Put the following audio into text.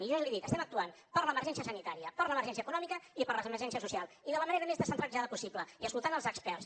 i jo li dic estem actuant per l’emergència sanitària per l’emergència econòmica i per l’emergència social i de la manera més descentralitzada possible i escoltant els experts